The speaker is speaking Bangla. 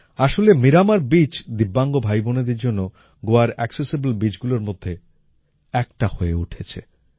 আসলে মীরামর বীচ দিব্যাঙ্গ ভাইবোনেদের জন্য গোয়ার অ্যাকসেসিবল বীচগুলোর মধ্যে একটা হয়ে উঠেছে